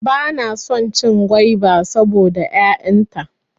Bana son cin gwaiba saboda 'ya'yan ta.